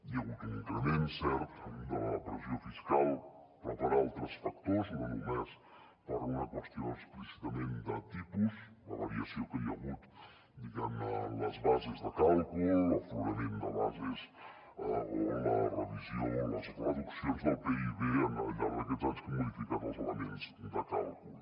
hi ha hagut un increment cert de la pressió fiscal però per altres factors no només per una qüestió explícitament de tipus la variació que hi ha hagut diguem ne en les bases de càlcul l’aflorament de bases o la revisió les reduccions del pib al llarg d’aquests anys que han modificat els elements de càlcul